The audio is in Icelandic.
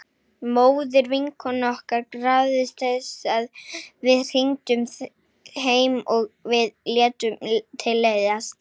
Móðir vinkonu okkar krafðist þess að við hringdum heim og við létum til leiðast.